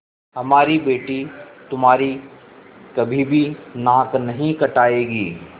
हमारी बेटी तुम्हारी कभी भी नाक नहीं कटायेगी